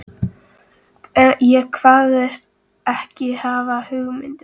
Ég kvaðst ekki hafa hugmynd um það.